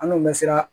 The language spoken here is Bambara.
An n'u bɛ siran